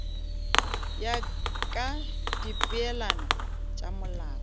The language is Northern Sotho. ya ka dipeelano tša molao